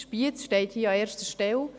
Spiez steht hier an erster Stelle.